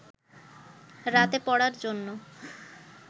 রাতে পড়ার জন্য